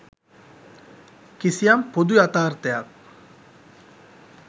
කිසියම් පොදු යථාර්තයක්